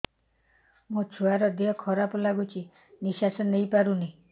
ମୋ ଛୁଆର ଦିହ ଖରାପ ଲାଗୁଚି ନିଃଶ୍ବାସ ନେଇ ପାରୁନି